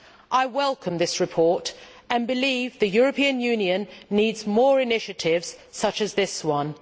I welcome this report and believe the European Union needs more initiatives such as this one.